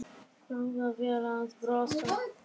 Jafnvel að brosa.